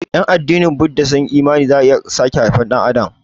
Ƴan addinin Buda sun yi imani cewa za'a iya sake haifar Ɗan adam.